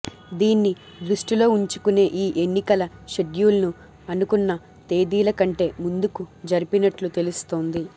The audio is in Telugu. దీన్ని దృష్టిలో ఉంచుకునే ఈ ఎన్నికల షెడ్యూల్ను అనుకున్న తేదీల కంటే ముందుకు జరిపినట్లు తెలుస్తోంది